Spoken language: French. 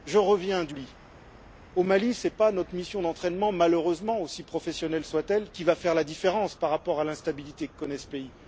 Je reviens du Mali et ce n'est pas notre mission d'entraînement malheureusement, aussi professionnelle soit elle qui va faire la différence par rapport à l'instabilité que connaît ce pays.